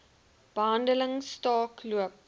behandeling staak loop